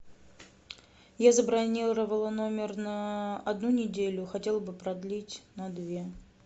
я забронировала номер на одну неделю хотела бы продлить на две